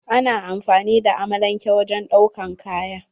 Ana amfani da amalanke wajen ɗaukan kaya.